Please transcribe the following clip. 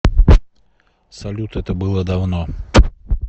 салют это было давно